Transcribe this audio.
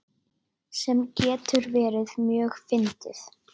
Sem getur verið mjög fyndið.